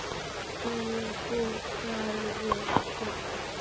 Af hverju húkirðu þarna?